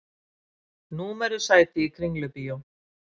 Númeruð sæti í Kringlubíó